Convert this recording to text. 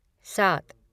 सात